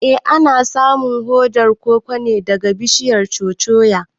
Eh ana samun hodar koko ne daga bishiyar "Cocoa".